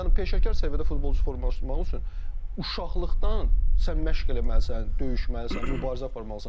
Yəni peşəkar səviyyədə futbolçu formalaşdırmaq üçün uşaqlıqdan sən məşq eləməlisən, döyüşməlisən, mübarizə aparmalısan.